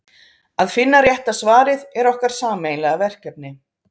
að finna rétta svarið er okkar sameiginlega verkefni